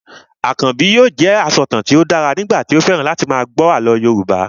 Akànbi yóò jẹ asọ̀tàn tí ó dára nígbà tí ó fẹ́ràn láti máa gbọ́ àlọ́ Yorùbá